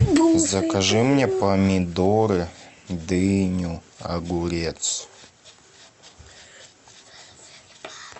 закажи мне помидоры дыню огурец